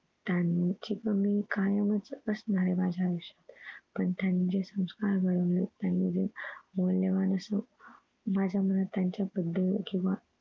त्यांची कमी कायम च असणार माझ्या आयुष्यात पण त्यांचे संस्कार माझं बरोबर त्यांनी जे मौल्यवान असं माझ्या मनात त्यांचं बदल केंव्हा